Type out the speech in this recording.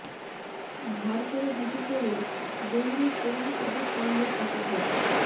ধার করা জুতো পরে দৌড়ে সোনার পদক আনল শশধর